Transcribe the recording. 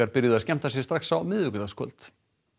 byrjuðu að skemmta sér strax á miðvikudagskvöld